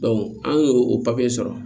an y'o o sɔrɔ